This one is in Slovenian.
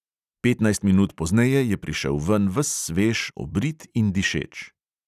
Petnajst minut pozneje je prišel ven ves svež, obrit in dišeč.